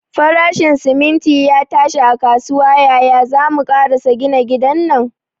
Farashin siminti ya tashi a kasuwa, yaya zamu karasa gina gidan nan?